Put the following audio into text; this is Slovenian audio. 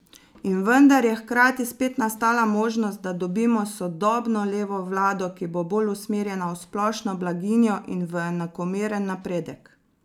In vendar je hkrati spet nastala možnost, da dobimo sodobno levo vlado, ki bo bolj usmerjena v splošno blaginjo in v enakomeren napredek.